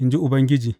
in ji Ubangiji.